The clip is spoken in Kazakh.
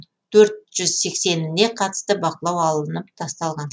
төрт жүз сексеніне қатысты бақылау алынып тасталған